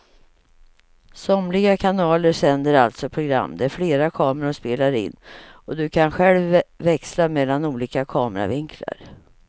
Somliga kanaler sänder alltså program där flera kameror spelar in och du kan själv växla mellan olika kameravinklar.